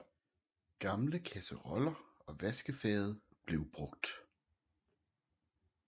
Gamle kasseroller og vaskefade blev brugt